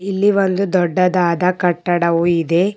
ಇಲ್ಲಿ ಒಂದು ದೊಡ್ಡದಾದ ಕಟ್ಟಡವು ಇದೆ.